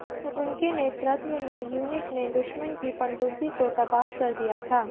उनके नेतृत्व में यूनिट ने दुश्मन की पनडुब्बी को तबाह कर दिया था